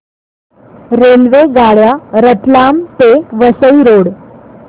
रेल्वेगाड्या रतलाम ते वसई रोड